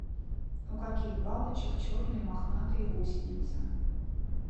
у каких бабочек черные мохнатые гусеницы